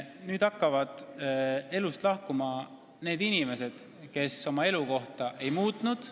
Nüüd hakkavad elust lahkuma need inimesed, kes oma elukohta ei muutnud.